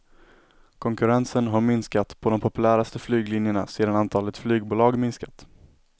Konkurrensen har minskat på de populäraste flyglinjerna sedan antalet flygbolag minskat.